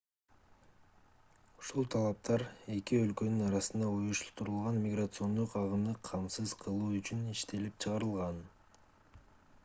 ушул талаптар эки өлкөнүн арасындагы уюштурулган миграциондук агымды камсыз кылуу үчүн иштелип чыгарылган